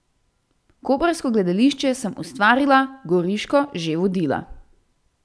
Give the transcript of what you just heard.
Koprsko gledališče sem ustvarila, goriško že vodila.